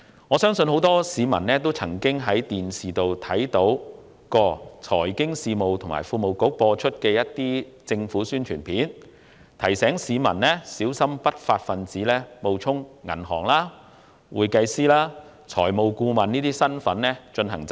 我相信很多市民都曾在電視上看過財經事務及庫務局製作的政府宣傳片，提醒市民小心不法分子冒充銀行職員、會計師和財務顧問等進行詐騙。